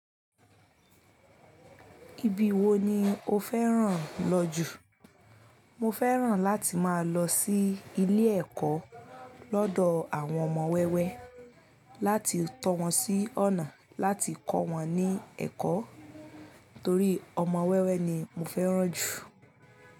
Ibi wo ni o fẹ́ràn lọ jù? Mo fẹ́ràn láti máa lọ sí ilé ẹ̀kọ́ lọ́dọ̀ àwọn ọmọ wẹ́wẹ́ láti tọ́ wọn sí ọ̀nà láti kọ́ wọn ní ẹ̀kọ́ torí ọmọ wẹ́wẹ́ ni mo fẹ́ràn jù.